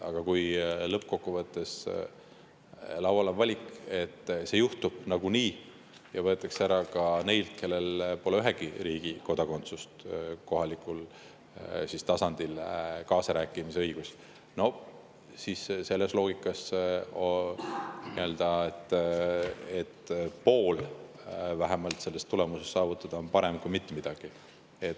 Aga lõppkokkuvõttes, kui laual on valik, et see juhtub nagunii ja kohalikul tasandil kaasarääkimise õigus võetakse ära ka neilt, kellel pole ühegi riigi kodakondsust, siis selles loogikas on vähemalt pool soovitust saavutada parem kui mitte midagi.